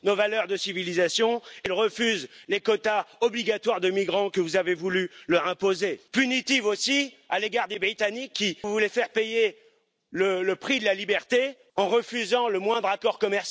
samo broniła bezpieczeństwa Europy Wschodniej, jak Europy Południowej i nie będzie tolerowała inicjatyw sprzecznych z bezpieczeństwem europejskim i z solidarnością europejską, jak Nord Stream 2. Potrzeba nam pragmatyzmu i praktycznej solidarności.